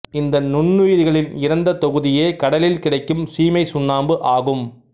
இந்த நுண்ணுயிரிகளின் இறந்த தொகுதியே கடலில் கிடைக்கும் சீமைச் சுண்ணாம்பு ஆகும்